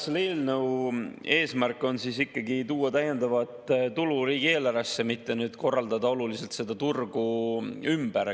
Selle eelnõu eesmärk on tuua täiendavat tulu riigieelarvesse, mitte korraldada oluliselt seda turgu ümber.